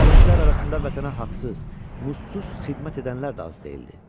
Bu dərvişlər arasında vətənə haqsız, namusuz xidmət edənlər də az deyildi.